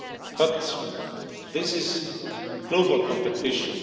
But this is global competition.